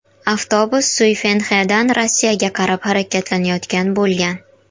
Avtobus Suyfenxedan Rossiyaga qarab harakatlanayotgan bo‘lgan.